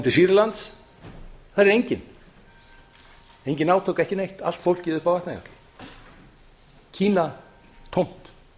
til sýrlands þar er enginn engin átök ekki neitt allt fólkið uppi á vatnajökli kína tómt